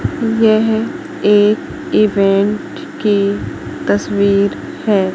यह एक इवेंट की तस्वीर है।